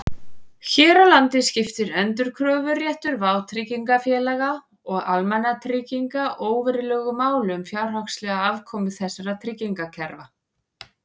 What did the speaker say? Hér á landi skiptir endurkröfuréttur vátryggingafélaga og almannatrygginga óverulegu máli um fjárhagslega afkomu þessara tryggingakerfa.